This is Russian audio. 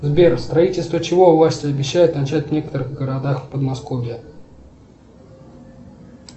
сбер строительство чего власти обещают начать в некоторых городах подмосковья